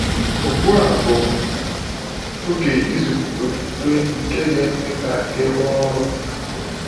Ugbu a bụ oge ịzụlite okwukwe nke ga-eme ka ị rụọ ọrụ.